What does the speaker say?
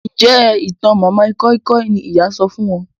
Njé ìtàn madam koi koi ní ìyá sọfún wón?